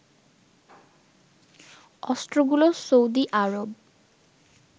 অস্ত্রগুলো Saudi Arab